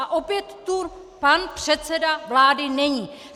A opět tu pan předseda vlády není!